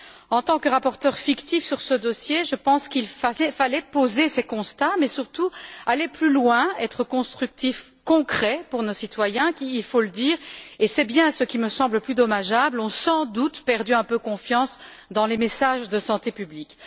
En tant que rapporteure fictive sur ce dossier, je pense qu'il fallait poser ces constats mais surtout aller plus loin, être constructif et concret pour nos citoyens qui, il faut le dire, et c'est bien ce qui me semble le plus dommageable, ont sans doute perdu un peu confiance dans les messages de santé publique.